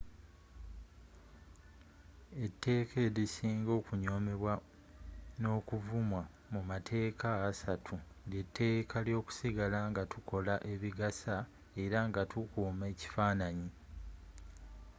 etteka elisinga okunyomebwa n'okuvumwa mu matekka assatu lyetekka lyokusigala nga tukola ebigasa era nga tukuma ekifananyi